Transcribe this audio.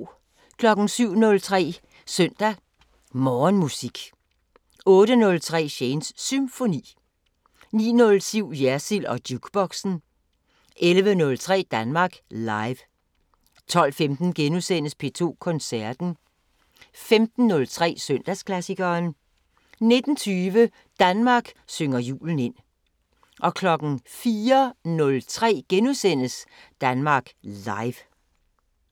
07:03: Søndag Morgenmusik 08:03: Shanes Symfoni 09:07: Jersild & Jukeboxen 11:03: Danmark Live 12:15: P2 Koncerten * 15:03: Søndagsklassikeren 19:20: Danmark synger julen ind 04:03: Danmark Live *